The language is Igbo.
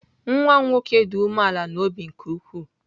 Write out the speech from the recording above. Nwa m nwoke dị umeala n'obi nke ukwuu.